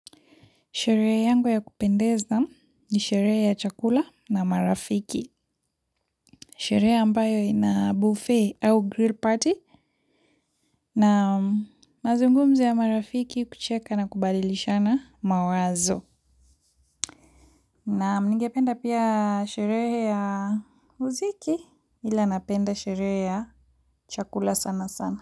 Sherehe yangu ya kupendeza ni sherehe ya chakula na marafiki. Sherehe ambayo ina buffet au grill party. Na mazungumzo ya marafiki kucheka na kubadilishana mawazo. Naam ningependa pia sherehe ya muziki. Ila napenda sherehe ya chakula sana sana.